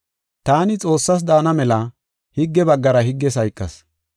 Taani Xoossaas daana mela higge baggara higges hayqas.